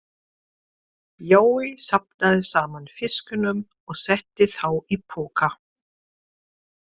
Jói safnaði saman fiskunum og setti þá í poka.